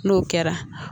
N'o kɛra